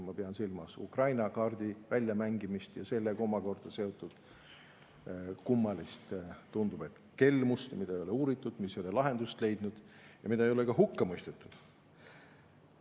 Ma pean silmas Ukraina kaardi väljamängimist ja sellega omakorda seotud kummalist, tundub, et kelmust, mida ei ole uuritud, mis ei ole lahendust leidnud ja mida ei ole ka hukka mõistetud.